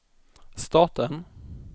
staten